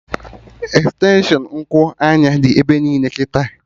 Extenshụn Nku anya dị ebe niile kịta